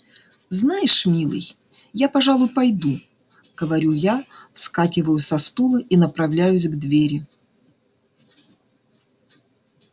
знаешь милый я пожалуй пойду говорю я вскакиваю со стула и направляюсь к двери